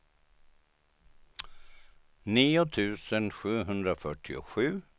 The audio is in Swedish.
nio tusen sjuhundrafyrtiosju